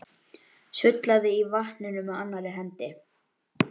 Sullaði í vatninu með annarri hendi.